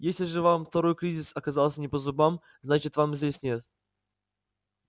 если же вам второй кризис оказался не по зубам значит вас здесь нет